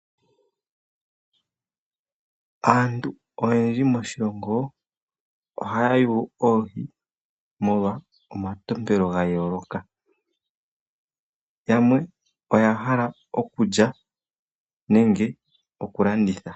Asntu oyendji moshilongo ohaya yuula oohi, molwa omatompelo ga yooloka, yamwe oya hala okulya nenge oku landitha.